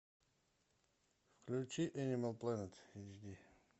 включи энимал плэнет эйчди